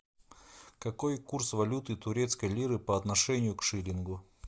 какой курс валюты турецкой лиры по отношению к шиллингу